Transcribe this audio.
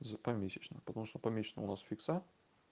за помесячно потому что помесячно у нас фикса